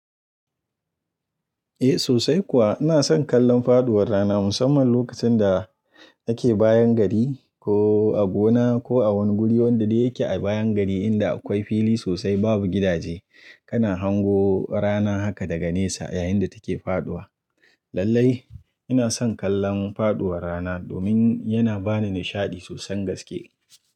Eh sosai kuwa ina son kallon faduwar rana musamman lokacin da nake bayan gari ko a gona ko a wani guri wanda dai yake a bayan gari inda akwai fili sosai babu gidaje kana hango rana haka daga nesa yayinda take faduwa. Lallai ina son kallon faduwar rana domin yana bani nishadi sosan gaske.